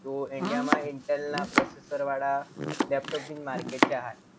તો india માં intel ના processor વાળા લેપટોપ નું માર્કેટ છે હાલ.